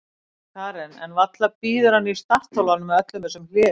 Karen: En varla bíður hann í startholunum með öllum þessum hléum?